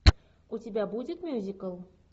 у тебя будет мюзикл